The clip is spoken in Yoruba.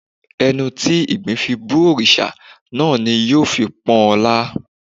Ẹnu tí ìgbín fi bú òrìṣà náà ni ó fi ń pọ́n ọn lá